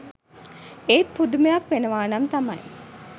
ඒත් පුදුමයක් වෙනවනම් තමයි